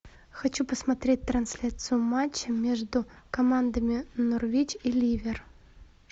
хочу посмотреть трансляцию матча между командами норвич и ливер